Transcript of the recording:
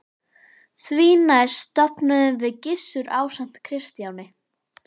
Því næst stofnuðum við Gissur ásamt Kristjáni